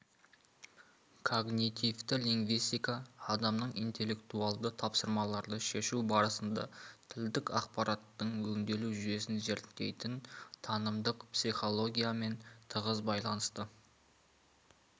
когнитивті лингвистика адамның интеллектуалды тапсырмаларды шешу барысында тілдік ақпараттың өңделу жүйесін зерттейтін танымдық психологиямен тығыз байланысты